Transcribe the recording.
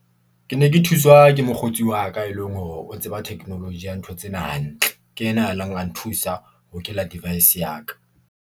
Ke ne ke thuswa ke mokgotsi wa ka, e leng hore o tseba technology ya ntho tsena hantle. Ke ena a neng a nthusa ho hokela device ya ka.